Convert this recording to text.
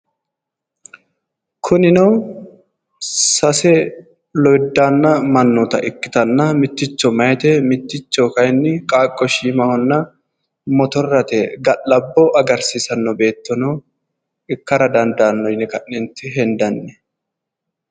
Kunino sase lowiddaanna mannoota ikkitanna mitticho meyaate mitticho kayinni qaaqqo shiimahonna motorrate ga'labbo agarsiisanno beettono ikkara dandaanno yine ka'neentinni hendanni